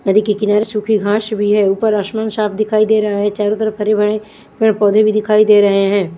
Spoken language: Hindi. नदी के किनारे सुखी घास भी है ऊपर आसमान साफ़ दिखाई दे रहे है चारो तरफ हरे भरे पेड़ पौधे भी दिखाई दे रहे है।